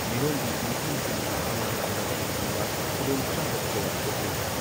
ꯃꯤꯔꯣꯟꯕꯤ ꯅꯨꯄꯤꯁꯤꯡꯅ ꯑꯉꯥꯡ ꯎꯟꯅꯕ ꯃꯇꯝꯗ ꯈꯨꯗꯣꯡꯆꯥꯗꯕ ꯀꯌꯥ ꯊꯣꯛꯂꯤ ꯫